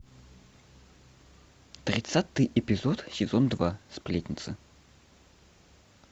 тридцатый эпизод сезон два сплетница